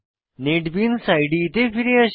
NetBeans ইদে তে ফিরে আসি